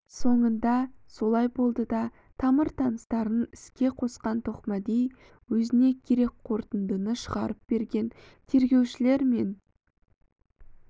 соңында солай болды да тамыр-таныстарын іске қосқан тоқмәди өзіне керек қорытындыны шығарып берген тергеушілер мен